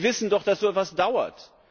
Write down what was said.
Und wir wissen doch, dass so etwas dauert.